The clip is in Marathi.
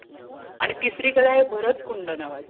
आणि तिसरी कड आहे भरात कुंड